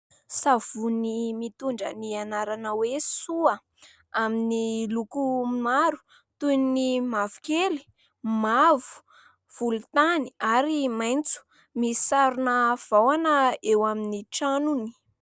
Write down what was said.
Savony mitondra ny anarana hoe Soa amin'ny lokony maro, toy ny mavokely, mavo, volontany, ary maitso. Misy sarina vahona eo amin'ny tranony.